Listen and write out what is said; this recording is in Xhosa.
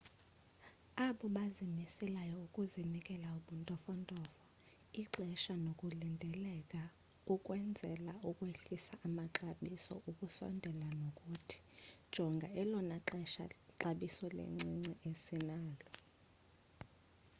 abobazimiseleyo ukunikezela ubuntofontofo ixesha nokulindeleka ukwenzela ukwehlisa amaxabiso ukusondela kunothi jonga elona xabiso lincinci esinalo